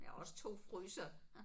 Og jeg har også 2 frysere